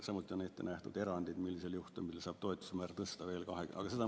Samuti on ette nähtud erandid, millisel juhtumil saab toetusmäära tõsta veel 20% ...